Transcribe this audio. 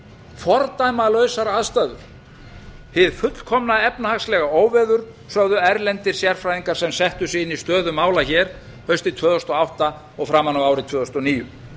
fordæmalausar aðstæður hið fullkomna efnahagslega óveður sögðu erlendir sérfræðingar sem settu sig inn í stöðu mála hér haustið tvö þúsund og átta og framan af ári tvö þúsund og níu